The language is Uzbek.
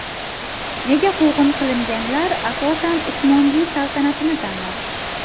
Nega quvg‘in qilinganlar, asosan, Usmonli saltanatini tanladi?